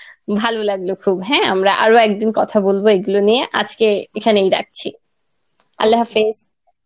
ভালো লাগলো খুব হ্যাঁ আমরা আরও একদিন কথা বলবো এইগুলো নিয়ে আজকে এইখানেই রাখছি Arbi.